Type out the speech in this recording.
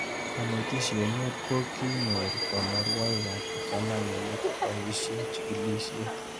Kanetishet mut ko kinyor kanuroik ab kipsomanik kepoishe chikilishet